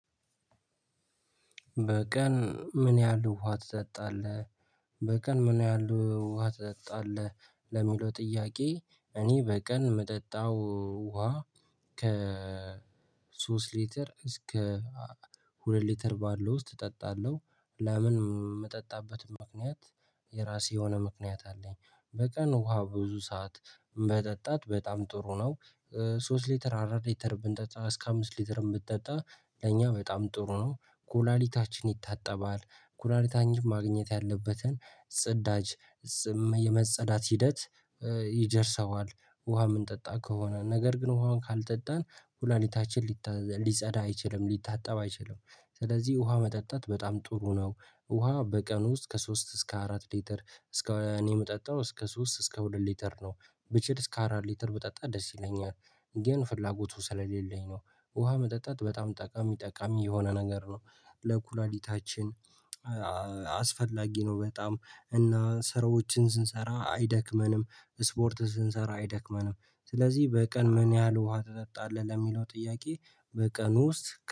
በቀን ምን ያህል ውሃ ትጠጣለህ? በቀን ምን ያህል ውሃ ትጠጣለህ? ለሚለው ጥያቄ እኔ በቀን የምጠጣው ውሃ ከ ሶስት ሊትር እስከ ሁለት ሊትር ባለው ውስጥ እጠጣለሁ። ለምን የምጠጣበትም ምክንያት የራሴ የሆነ ምክንያት አለኝ። በቀን ውሃ ብዙ ሰዓት መጠጣት በጣም ጥሩ ነው። ሶስት ሊትር አራት ሊትር ብንጠጣ እስከ አምስት ሊትርም ብንጠጣ ለኛ በጣም ጥሩ ነው። ኩላሊታችን ይታጠባል። ኩላሊታኝም ማግኘት ያለበትን ጽዳጅ የመጸዳት ሂደት ይደርሰዋል ውሃ የምንጠጣ ከሆነ። ነገር ግን ውሃውን ካልጠጣን ኩላሊታችን ሊጸዳ አይችልም፤ ሊታጠብ አይችልም። ስለዚህ ውሃ መጠጣት በጣም ጥሩ ነው። ውሃ በቀን ውስጥ ከሶስት እስከ አራት ሊትር እስከ እኔ የምጠጣው እስከ ሶስት እስከ ሁለት ሊትር ነው። ብችል እስከ አራት ሊትር ብጠጣ ደስ ይለኛል። ግን ፍላጎቱ ስለሌለኝ ነው። ውሃ መጠጣት በጣም ጠቃሚ ጠቃሚ የሆነ ነገር ነው። ለኩላሊታችን አስፈላጊ ነው በጣም። እና ስራዎችን ስንሰራ አይደክመንም። ስፖርት ስንሰራ አይደክመንም። ስለዚህ በቀን ምን ያህል ውሃ ትጠጣለህ? ለሚለው ጥያቄ በቀኑ ውስጥ